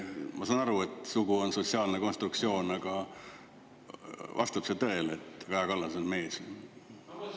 Ma saan aru, et sugu on sotsiaalne konstruktsioon, aga vastab see tõele, et Kaja Kallas on mees?